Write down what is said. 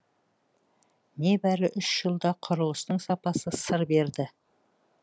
небәрі үш жылда құрылыстың сапасы сыр берді